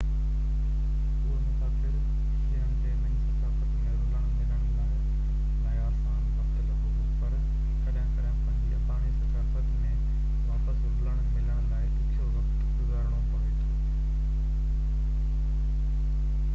اهي مسافر جنن کي نئي ثقافت ۾ رلڻ ملڻ لاءِ آسان وقت لڳو هو پر ڪڏهن ڪڏهن پنهنجي اباڻي ثقافت ۾ واپس رلڻ ملڻ لاءِ ڏکيو وقت گذارڻو پوي ٿو